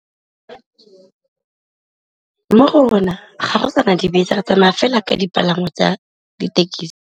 Mo go rona ga go sana dibese re tsamaya fela ka dipalangwa tsa dithekesi.